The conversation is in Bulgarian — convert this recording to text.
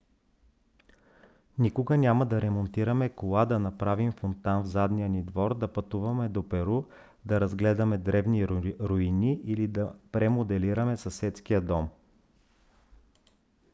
никога няма да ремонтираме кола да направим фонтан в задния ни двор да пътуваме до перу да разгледаме древни руини или да премоделираме съседския дом